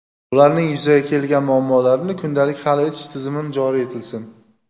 ularning yuzaga kelgan muammolarini kundalik hal etish tizimi joriy etilsin;.